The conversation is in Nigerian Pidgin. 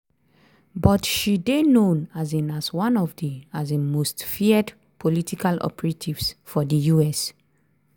but she dey known um as one of di um most feared political operatives for di US.